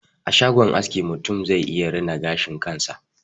A shagon aski, mutum zai iya rina gashin kansa.